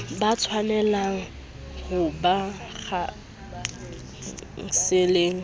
ba tshwanelehang ho ba khanseleng